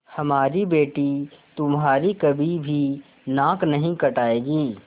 हमारी बेटी तुम्हारी कभी भी नाक नहीं कटायेगी